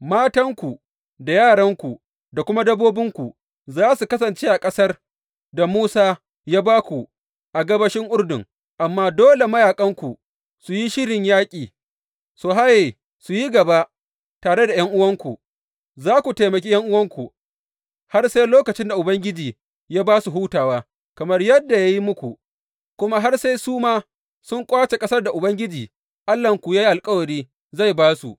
Matanku, da yaranku, da kuma dabbobinku za su kasance a ƙasar da Musa ya ba ku a gabashin Urdun, amma dole mayaƙanku, su yi shirin yaƙi su haye, su yi gaba tare da ’yan’uwanku, za ku taimaki ’yan’uwanku har sai lokacin da Ubangiji ya ba su hutawa, kamar yadda ya yi muku, kuma har sai su ma sun ƙwace ƙasar da Ubangiji Allahnku ya yi alkawari zai ba su.